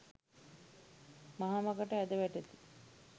මහ මඟට ඇද වැටෙති.